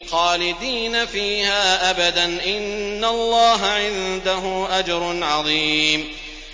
خَالِدِينَ فِيهَا أَبَدًا ۚ إِنَّ اللَّهَ عِندَهُ أَجْرٌ عَظِيمٌ